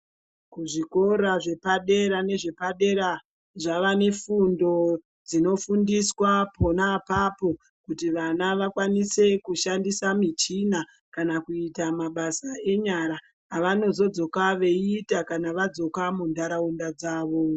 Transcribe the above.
Kuzvikora zvepadera nezvepadera ,zvava nefundo dzinofundiswa pona apapo, kuti vana vakwanise kushandisa michina kana kuyita mabasa enyara, avanozodzoka veyiita kana vadzoka mundaraunda dzavo.